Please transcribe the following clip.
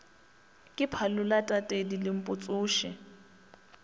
ke phalola tatedi lempo tsoši